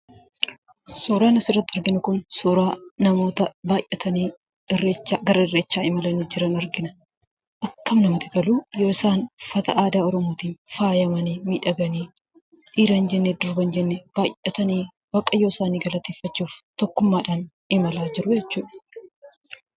Suuraan asirratti arginu kun suuraa namoota baayyatanii irreechaa gara irreechaa deemaa jiran argina. Akkam namatti toluu! yoo isaan uffata aadaa oromootiin faayamanii, miidhaganii dhiira hin jenne, durba hin jenne baayyatanii Waaqayyo isaanii galateeffachuuf tokkummaadhaan imalaa jiruu jechuudha.